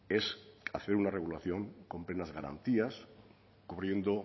es hacer una regulación con plenas garantías cubriendo